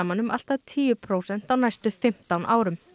saman um allt að tíu prósent á næstu fimmtán árum